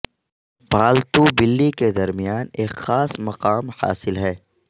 پالتو بلی کے درمیان ایک خاص مقام حاصل ہے